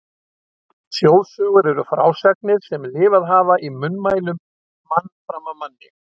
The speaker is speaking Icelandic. Þjóðsögur eru frásagnir sem lifað hafa í munnmælum mann fram af manni.